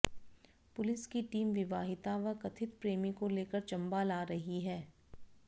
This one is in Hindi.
पुलिस की टीम विवाहिता व कथित प्रेमी को लेकर चंबा ला रही है